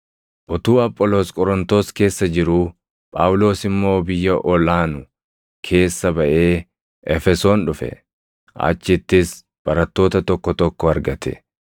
Utuu Apholoos Qorontos keessa jiruu Phaawulos immoo biyya ol aanu keessa baʼee Efesoon dhufe; achittis barattoota tokko tokko argate.